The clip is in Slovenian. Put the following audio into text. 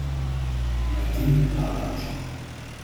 Martin Lavrič.